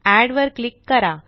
add वर click करा